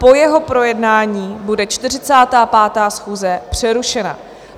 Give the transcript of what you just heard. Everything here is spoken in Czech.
Po jeho projednání bude 45. schůze přerušena.